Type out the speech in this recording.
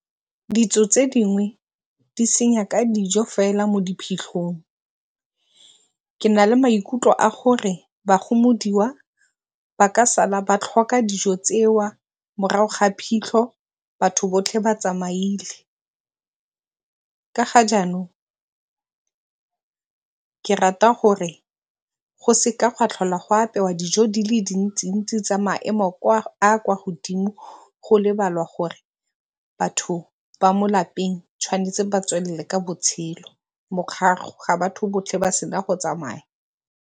Ditso tse dingwe di senya ka dijo fela mo diphitlhong. Ke na le maikutlo a gore ba gomodiwa ba ka sala ba tlhoka dijo morago ga phitlho batho botlhe ba tsamaile. Ka ga jaanong ke rata gore go seka gwa tlhole go apewa dijo di le dintsi-ntsi tsa maemo a kwa godimo go lebalwa gore batho ba mo lapeng ba tshwanetse go tswelela pele ka botshelo morago ga batho botlhe ba fetsa go tsamaya.